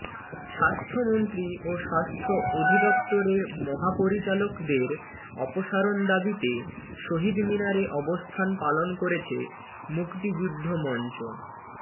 স্বাস্থ্যমন্ত্রী ও স্বাস্থ্য অধিদপ্তরের মহাপরিচালকের অপসারণ দাবিতে শহীদ মিনারে অবস্থান পালন করেছে মুক্তিযুদ্ধ মঞ্চ